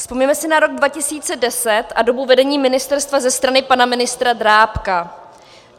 Vzpomeňme si na rok 2010 a dobu vedení ministerstva ze strany pana ministra Drábka.